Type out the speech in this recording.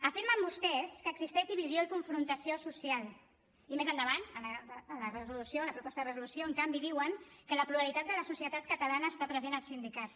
afirmen vostès que existeix divisió i confrontació social i més endavant a la proposta de resolució en canvi diuen que la pluralitat de la societat catalana està present als sindicats